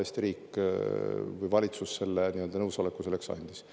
Eesti riik või valitsus selle nii-öelda nõusoleku selleks andis.